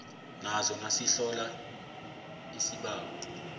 nazo nasihlola isibawo